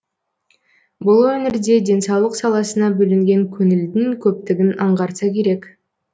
бұл өңірде денсаулық саласына бөлінген көңілдін көптігін аңғартса керек